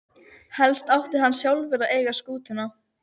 Helst átti hann sjálfur að eiga skútuna.